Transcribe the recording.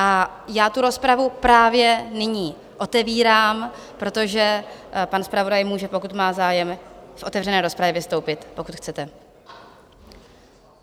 A já tu rozpravu právě nyní otevírám, protože pan zpravodaj může, pokud má zájem, v otevřené rozpravě vystoupit, pokud chcete.